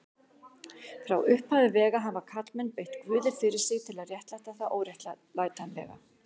Frá upphafi vega hafa karlmenn beitt guði fyrir sig til að réttlæta það óréttlætanlega.